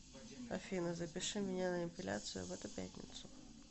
афина запиши меня на эпиляцию в эту пятницу